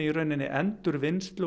endurvinnslu